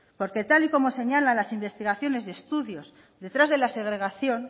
porque tal y como señalan las investigaciones y estudios detrás de la segregación